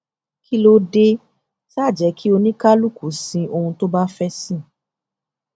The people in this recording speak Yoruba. kí ló dé tá á jẹ kí oníkálukú sin ohun tó bá fẹẹ sìn